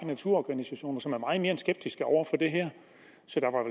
naturorganisationer som er mere end skeptiske over for det her